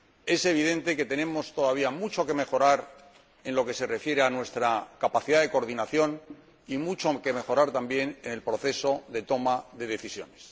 Es evidente que tenemos todavía mucho que mejorar en lo que se refiere a nuestra capacidad de coordinación y mucho que mejorar también en el proceso de toma de decisiones.